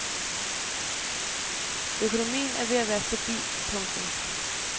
Økonomien er ved at være stabil. punktum